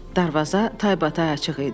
Darvaza taybatay açıq idi.